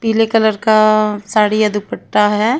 पीले कलर का साड़ी या दुपट्टा है।